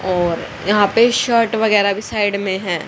और यहां पे शर्ट वगैराह भी साइड में है।